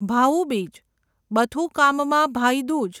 ભાઉ બીજ બથુકામમાં ભાઈ દૂજ